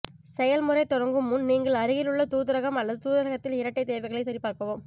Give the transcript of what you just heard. செயல்முறை தொடங்கும் முன் நீங்கள் அருகிலுள்ள தூதரகம் அல்லது தூதரகத்தில் இரட்டை தேவைகளை சரிபார்க்கவும்